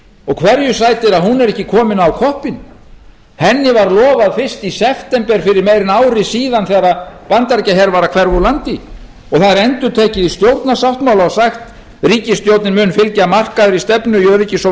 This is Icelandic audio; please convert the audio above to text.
og hverju sætir að hún er ekki komið á koppinn henni var lofað fyrst í september fyrir meira en ári síðan þegar bandaríkjaher var að hverfa úr landi og það er endurtekið í stjórnarsáttmála og sagt ríkisstjórnin mun fylgja markaðri stefnu í öryggis og